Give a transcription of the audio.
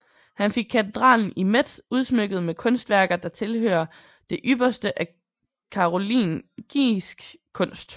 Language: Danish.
Han fik katedralen i Metz udsmykket med kunstværker der tilhører det ypperste af karolingisk kunst